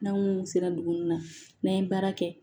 N'anw sera dugu nunnu na n'an ye baara kɛ